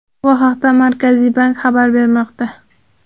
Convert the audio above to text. Bu haqda Markaziy bank xabar bermoqda .